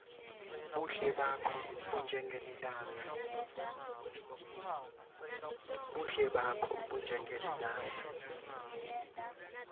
buhle bakho bunjengelilanga